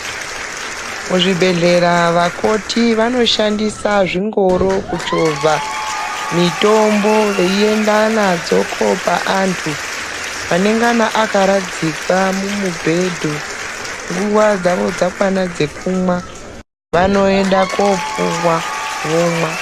Muzvibhehlera vakoti vanoshandisa zvingoro kuchovha mitombo veienda nadzo koopa antu, anengana akaradzikwa mumubhedhu nguva dzawo dzakwana dzekumwa vanoenda koopuwa vomwa.